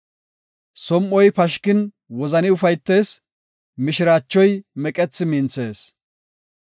Som7oy pashkin wozani ufaytees; mishiraachoy meqethi minthees.